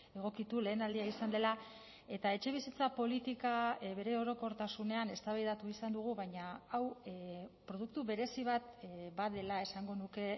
egokitu lehen aldia izan dela eta etxebizitza politika bere orokortasunean eztabaidatu izan dugu baina hau produktu berezi bat badela esango nuke